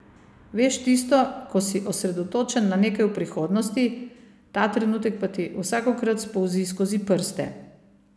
Veš tisto, ko si osredotočen na nekaj v prihodnosti, ta trenutek pa ti vsakokrat spolzi skozi prste.